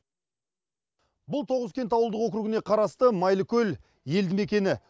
бұл тоғызкент ауылдық округіне қарасты майлыкөл елді мекені